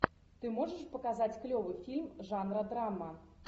ты можешь показать клевый фильм жанра драма